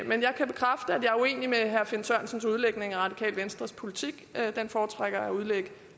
jeg er uenig med herre finn sørensens udlægning af det radikale venstres politik den foretrækker jeg at udlægge